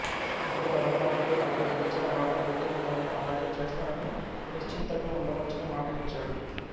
అతడు ధర్మరాజుతో అతడికి ఇచ్చిన మాట గుర్తు ఉన్నదని అలాగే చేస్తానని నిశ్చింతగా ఉండవచ్చని మాట ఇచ్చాడు